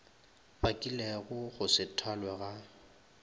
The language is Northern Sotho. bakilego go se thwalwe ga